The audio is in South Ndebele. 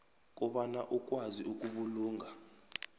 kobana ukwazi ukubulunga